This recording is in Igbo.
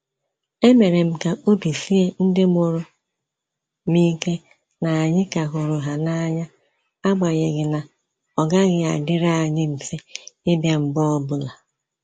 E mere m ka obi sie ndị mụrụ m ike na anyị ka hụrụ ha n'anya, agbanyeghi na ọ gaghị adịrị anyị mfe ịbịa mgbe ọbụla